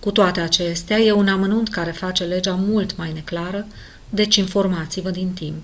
cu toate acestea e un amănunt care face legea mult mai neclară deci informați-vă din timp